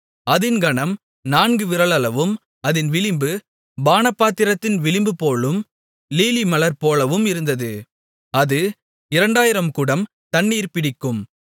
அதின் கனம் நான்கு விரலளவும் அதின் விளிம்பு பானபாத்திரத்தின் விளிம்புபோலும் லீலிமலர் போலவும் இருந்தது அது 2000 குடம் தண்ணீர் பிடிக்கும்